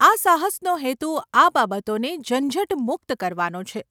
આ સાહસનો હેતુ આ બાબતોને ઝંઝટમુક્ત કરવાનો છે.